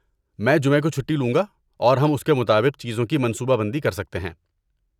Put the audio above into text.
میں جمعہ کو چھٹی لوں گا اور ہم اس کے مطابق چیزوں کی منصوبہ بندی کر سکتے ہیں۔